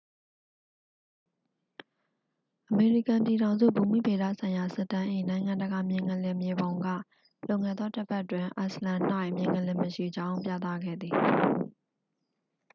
အမေရိကန်ပြည်ထောင်စု ဘူမိဗေဒဆိုင်ရာ စစ်တမ်း၏ နိုင်ငံတကာ မြေငလျင် မြေပုံက လွန်ခဲ့သော တစ်ပတ်တွင် အိုက်စ်လန်၌ မြေငလျင်မရှိကြောင်း ပြသခဲ့သည်